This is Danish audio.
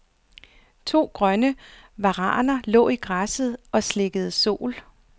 To grønne varaner lå i græsset og slikkede sol.